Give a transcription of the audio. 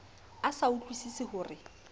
a sa utlwusise ho re